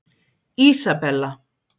Ísabella